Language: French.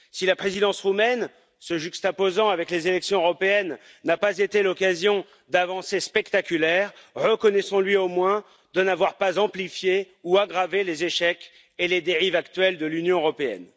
Si la Présidence roumaine, se juxtaposant avec les élections européennes, n'a pas été l'occasion d'avancées spectaculaires, reconnaissons lui au moins de n'avoir pas amplifié ou aggravé les échecs et les dérives actuelles de l'Union européenne.